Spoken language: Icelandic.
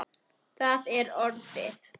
Það er orðið.